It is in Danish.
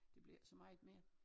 Det bliver ikke så meget mere